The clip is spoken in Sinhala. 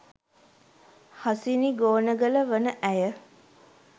හසිනි ගෝනගල වන ඇය